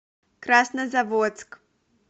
краснозаводск